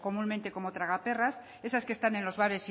comúnmente como tragaperras esas que están en los bares